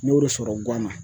N y'o de sɔrɔ guwan na.